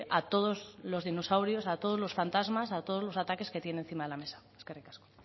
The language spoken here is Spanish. a todos los dinosaurios a todos los fantasmas a todos los ataques que tiene encima de la mesa eskerrik asko